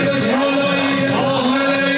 Hüseyn, Seyyid!